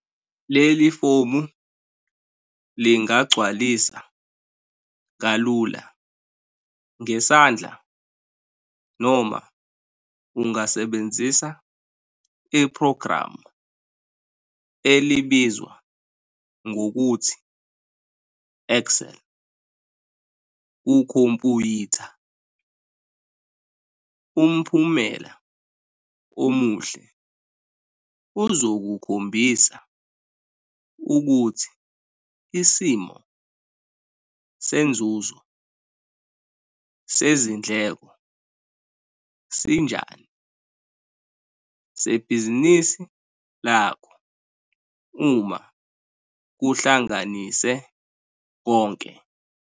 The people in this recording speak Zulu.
Leli fomu lingagcwalisa kalula ngesandla noma ungasebenzisa iphrogramu elibizwa ngokuthi "Excel" kukhompuyitha. Umphumela omuhle uzokukhombisa ukuthi isimo senzuzo, sezindleko sinjani sebhizinisi lakho uma kuhlanganise konke.